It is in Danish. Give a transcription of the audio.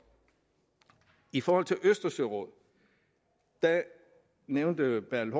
i forhold til østersørådet nævnte bertel